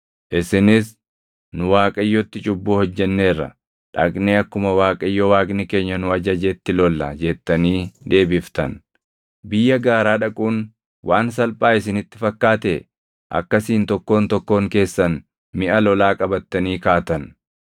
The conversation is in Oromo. Isinis, “Nu Waaqayyotti cubbuu hojjenneerra. Dhaqnee akkuma Waaqayyo Waaqni keenya nu ajajetti lolla” jettanii deebiftan. Biyya gaaraa dhaquun waan salphaa isinitti fakkaatee akkasiin tokkoon tokkoon keessan miʼa lolaa qabattanii kaatan.